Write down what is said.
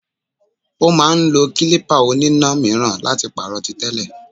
Ó máà ń lo klípà oníná míràn láti pàrọ̀ tí tẹ́lẹ̀.